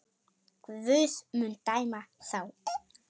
Guð mun dæma þá.